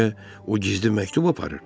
Bəlkə o gizli məktub aparır.